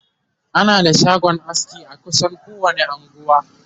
ana da shagon aski a kusan kowani unguwa